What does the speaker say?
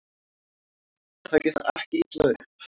Takið það ekki illa upp.